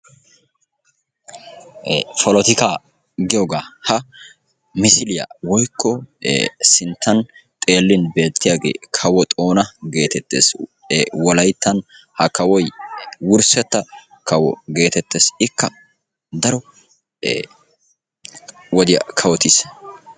Polotikaa giyogaa. Ha misiliya woyikko sinttan xeellin beettiyagee kawo xoona geetettes. Wolayittan ha kawoy wurssetta kawo geetettes. Ikka daro wodiya kawotis.